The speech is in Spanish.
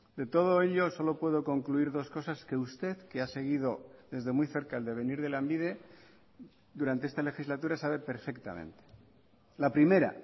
de todo ello solo puedo concluir dos cosas que usted que ha seguido desde muy cerca el devenir de lanbide durante esta legislatura sabe perfectamente la primera